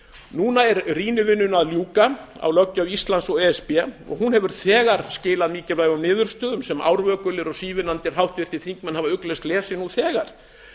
núna er að ljúka rýnivinnunni á löggjöf íslands og e s b og hún hefur þegar skilað mikilvægum niðurstöðum sem árvökulir og sívinnandi háttvirtir þingmenn hafa ugglaust lesið nú þegar